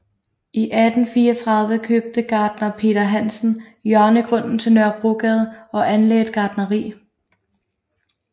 I 1834 købte gartner Peter Hansen hjørnegrunden til Nørrebrogade og anlagde et gartneri